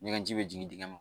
Ɲɛgɛn ji bɛ jigin dingɛ